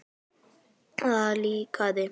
Það líkaði